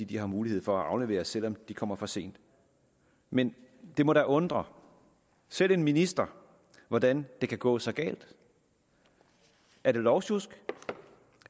de har mulighed for at aflevere selv om de kommer for sent men det må da undre selv en minister hvordan det kan gå så galt er det lovsjusk